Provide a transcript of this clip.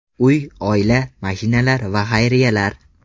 Uy, oila, mashinalar va xayriyalar.